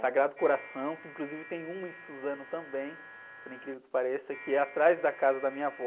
Sagrado Coração, que inclusive tem uma em Suzano também, por incrível que pareça, que é atrás da casa da minha avó.